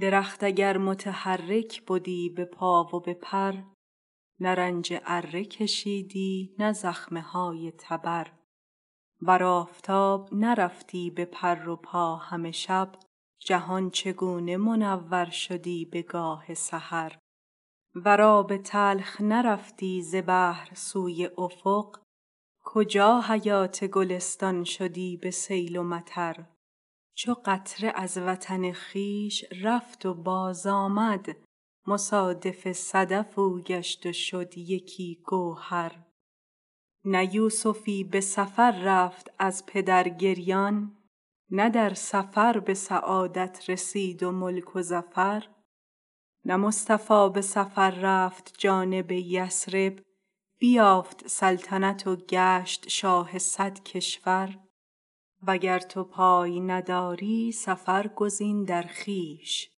درخت اگر متحرک بدی به پا و به پر نه رنج اره کشیدی نه زخمه های تبر ور آفتاب نرفتی به پر و پا همه شب جهان چگونه منور شدی بگاه سحر ور آب تلخ نرفتی ز بحر سوی افق کجا حیات گلستان شدی به سیل و مطر چو قطره از وطن خویش رفت و بازآمد مصادف صدف او گشت و شد یکی گوهر نه یوسفی به سفر رفت از پدر گریان نه در سفر به سعادت رسید و ملک و ظفر نه مصطفی به سفر رفت جانب یثرب بیافت سلطنت و گشت شاه صد کشور وگر تو پای نداری سفر گزین در خویش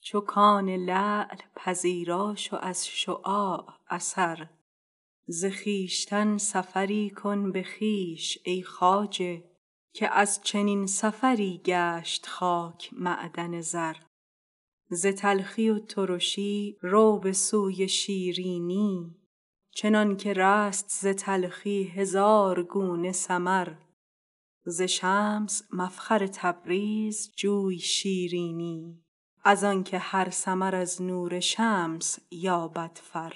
چو کان لعل پذیرا شو از شعاع اثر ز خویشتن سفری کن به خویش ای خواجه که از چنین سفری گشت خاک معدن زر ز تلخی و ترشی رو به سوی شیرینی چنانک رست ز تلخی هزار گونه ثمر ز شمس مفخر تبریز جوی شیرینی از آنک هر ثمر از نور شمس یابد فر